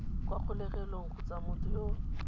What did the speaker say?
kwa kgolegelong kgotsa motho yo